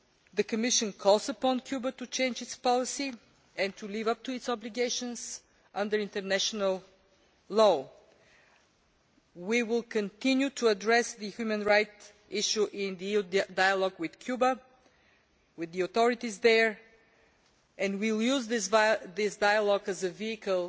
The Commission calls upon Cuba to change its policy and to live up to its obligations under international law. We will continue to address the human rights issue in the dialogue with Cuba, with the authorities there, and we will use this dialogue as a vehicle